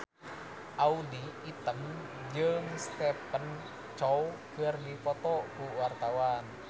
Audy Item jeung Stephen Chow keur dipoto ku wartawan